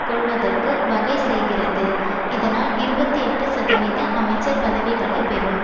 கொள்வதற்கு வகை செய்கிறது இதனால் இருபத்தி எட்டு சதவீத அமைச்சர் பதவிகளை பெறும்